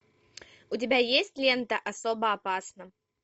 у тебя есть лента особо опасна